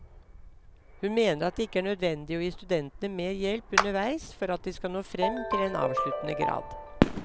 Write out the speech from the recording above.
Hun mener at det ikke er nødvendig å gi studentene mer hjelp underveis for at de skal nå frem til en avsluttende grad.